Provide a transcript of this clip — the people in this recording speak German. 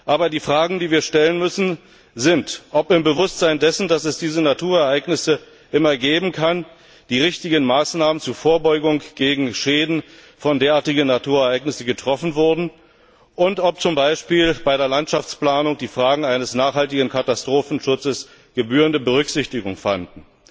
Aber die Fragen, die wir stellen müssen, sind, ob im Bewusstsein dessen, dass es diese Naturereignisse immer geben kann, die richtigen Maßnahmen zur Vorbeugung gegen Schäden von derartigen Naturereignissen getroffen wurden und ob zum Beispiel bei der Landschaftsplanung die Fragen eines nachhaltigen Katastrophenschutzes gebührende Berücksichtigung fanden.